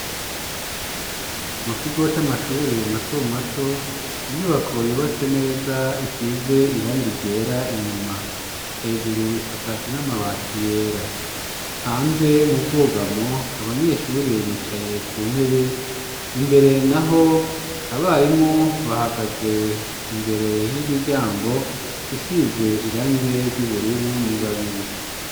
Mukigo c'amashure matomato inyubako yubatse neza isize irange ryera inyuma hejuru isakajwe n'amabati yera hanze mu bwugamo abanyeshure bicaye ku ntebe imbere naho abarimu bahagaze imbere y'imiryango isize irange ry'ubururu ni babiri.